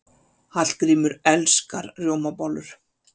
Hallgrímur elskar rjómabollur.